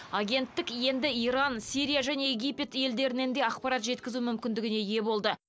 агенттік енді иран сирия және египет елдерінен де ақпарат жеткізу мүмкіндігіне ие болды